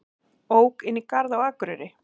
Ók inn í garð á Akureyri